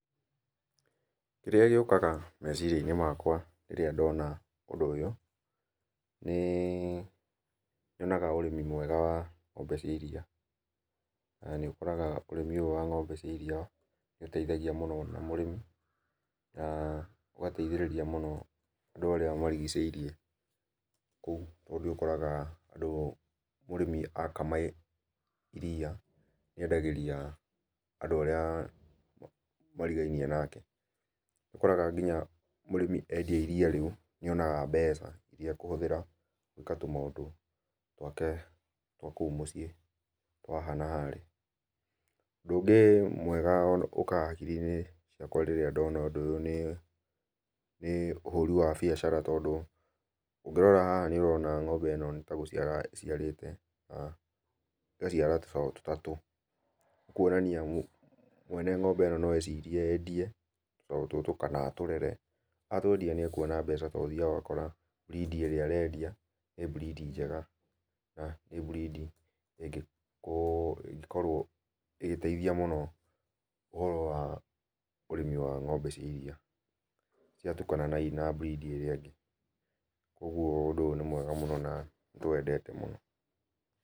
Kĩrĩa gĩũkaga meciria-inĩ makwa rĩrĩa ndona ũndũ ũyũ, nĩ nyonaga ũrĩmi mwega wa ng'ombe cia iria. Na nĩ ũkoraga ũrĩmi ũyũ wa ng'ombe cia iria nĩ ũteithagia mũno na mũrĩmi, na ũgateithĩrĩria mũno andũ arĩa marigicĩirie kũu tondũ nĩ ũkoraga andũ mũrĩmi akama iria endagĩria andũ arĩa marigainie nake. Nĩũkoraga kinya mũrĩmi endia iria rĩu nĩonaga mbeca iria ekũhũthĩra gwĩka tũmaũndũ twake twa kũu mũciĩ, twa haha na harĩa. Ũndũ ũngĩ mwega ũkaga hakiri-inĩ ciakwa rĩrĩa ndona ũndũ ũyũ nĩ nĩ ũhũri wa biacara tondũ, ũngĩrora haha nĩũrona ng'ombe ĩno nĩta gũciara ĩciarĩte, ĩgaciara tũcaũ tũtatũ. Nĩ kuonania mwene ng'ombe ĩno no ecirie endie tũcaũ tũtũ kana atũrere. Atwendia nĩ ekuona mbeca tondũ ũthiaga ũgakora, breed i ĩrĩa arendia nĩ breed njega. Na, nĩ breed i ĩngĩkorwo ĩgĩteithia mũno ũhoro wa ũrĩmi wa ng'ombe cia iria, ciatukana na breed ĩrĩa ĩngĩ kuoguo ũndũ ũyũ nĩ mwega mũno na nĩtũwendete mũno.